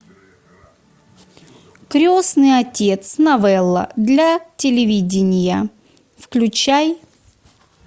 крестный отец новелла для телевидения включай